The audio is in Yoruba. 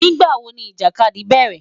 Nigbawo ni ijakadi bẹrẹ?